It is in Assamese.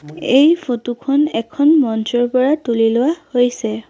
এই ফটো খন এখন মঞ্চৰ পৰা তুলি লোৱা হৈছে।